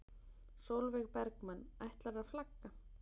Sólveig Bergmann: Ætlarðu að flagga?